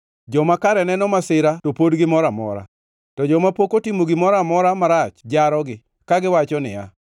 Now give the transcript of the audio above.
Joma kare neno masira to pod gimor amora, to joma pok otimo gimoro amora marach jarogi, kagiwacho niya,